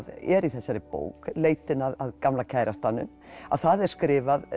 er í þessari bók leitin að gamla kærastanum að það er skrifað